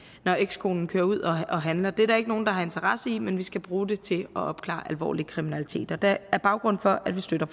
når ekskonen kører ud og handler det er der ikke nogen der har interesse i men vi skal bruge det til at opklare alvorlig kriminalitet og det er baggrunden for at vi støtter